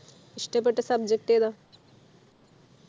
ഇഷ്ടപ്പെട്ട subject ഏതാ